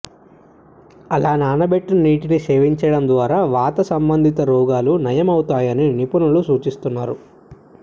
అలా నానబెట్టిన నీటిని సేవించడం ద్వారా వాత సంబంధిత రోగాలు నయం అవుతాయని నిపుణులు సూచిస్తున్నారు